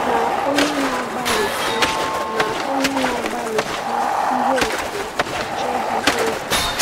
“Ma onye na-agbalịsi “Ma onye na-agbalịsi ihe efu achọghị obi.”